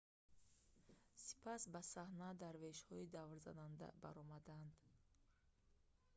сипас ба саҳна дарвешҳои даврзананда баромаданд